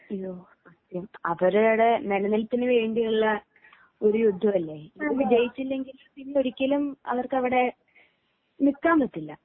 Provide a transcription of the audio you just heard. അവരുടെ നിലനിൽപ്പിനു വേണ്ടിയിട്ടുള്ള ഒരു യുദ്ധല്ലേ ഇതിൽ ജയിച്ചില്ലെങ്കിൽ പിന്നൊരിക്കലും അവർക്കവിടെ നില്ക്കാൻ പറ്റില്ല